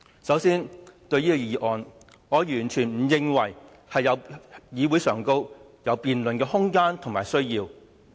首先，對於這項議案，我完全不認為在議會上有辯論的空間和需要。